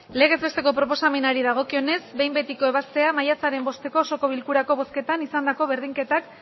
legez besteko proposamenari dagokionez behin betiko ebaztea maiatzaren bosteko osoko bilkurako bozketan izandako berdinketak